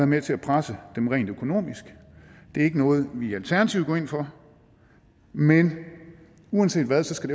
med til at presse dem rent økonomisk det er ikke noget vi i alternativet går ind for men uanset hvad skal